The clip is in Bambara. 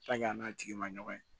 a n'a tigi ma ɲɔgɔn ye